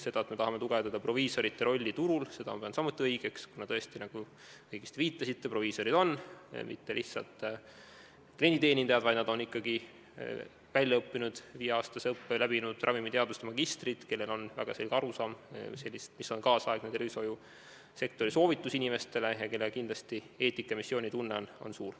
Seda, et me tahame tugevdada proviisorite rolli turul, seda pean samuti õigeks, kuna tõesti, nagu te õigesti viitasite, ei ole proviisorid mitte lihtsalt klienditeenindajad, vaid nad on ikkagi väljaõppinud, viieaastase õppe läbinud ravimiteaduse magistrid, kellel on väga selge arusaam sellest, millised on tänapäeva tervishoiusektori soovitused inimestele, ning kelle eetika- ja missioonitunne on kindlasti suur.